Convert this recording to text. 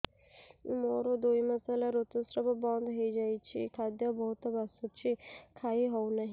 ମୋର ଦୁଇ ମାସ ହେଲା ଋତୁ ସ୍ରାବ ବନ୍ଦ ହେଇଯାଇଛି ଖାଦ୍ୟ ବହୁତ ବାସୁଛି ଖାଇ ହଉ ନାହିଁ